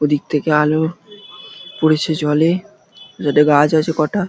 ওদিক থেকে আলো পড়েছে জলে। যাতে গাছ আছে কটা।